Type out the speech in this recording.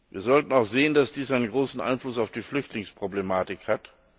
Wir sollten auch sehen, dass dies einen großen Einfluss auf die Flüchtlingsproblematik hat.